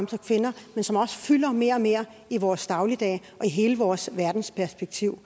til kvinder men som også fylder mere og mere i vores dagligdag og hele vores verdensperspektiv